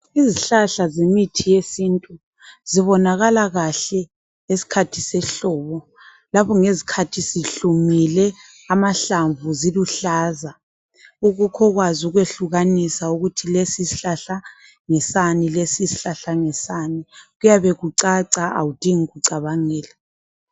Izihlahla zemithi yesintu, zibonakala kahle ngesikhathi sehlobo, lapho ngezikhathi zihlumile, amahlamvu ziluhlaza ukukhu kwazi ukwehlukanisa ukuthi lesisihlahla, ngesani lesisihlahla ngesani kuyabe kucaca awudingi ukucabangela.